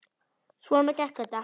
Svona gekk þetta.